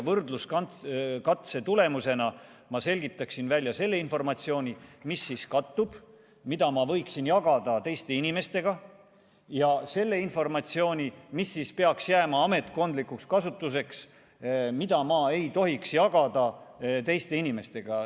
Võrdluskatse tulemusena ma selgitaksin välja selle informatsiooni, mis kattub, mida ma võiksin jagada teiste inimestega, ja selle informatsiooni, mis peaks jääma ametkondlikuks kasutuseks, mida ma ei tohiks jagada teiste inimestega.